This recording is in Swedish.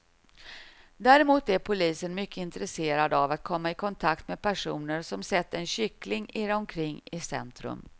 Däremot är polisen mycket intresserad av att komma i kontakt med personer som sett en kyckling irra omkring i centrum.